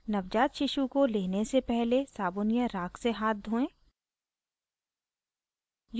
नवजात शिशु को लेने से पहले साबुन या राख से हाथ धोएं